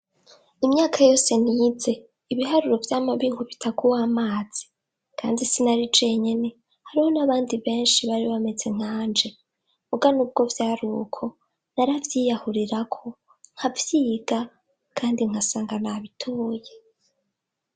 Imyaka yose nize, ibiharuro vyama binkubita ku w'amazi. Kandi sinari jenyene, hariho n'abandi benshi bari bameze nkanje. Muga nubwo vyari uko, naravyiyahurirako, nkavyiga, kandi nkasanga nabitoye.